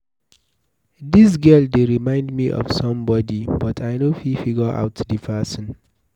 Dis girl dey remind me of somebody but I no fit figure out the person.